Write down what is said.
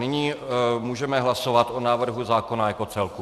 Nyní můžeme hlasovat o návrhu zákona jako celku.